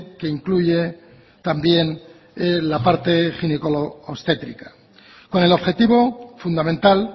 que incluye también la parte ginecoobstétrica con el objetivo fundamental